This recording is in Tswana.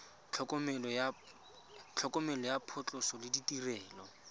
tlhokomelo ya phatlhoso le ditirelo